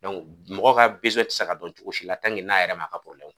mɔgɔ ka tɛ sa ka don cogo si la n'a yɛrɛ m'a ka